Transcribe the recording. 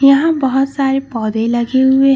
यहां बहोत सारे पौधे लगे हुए।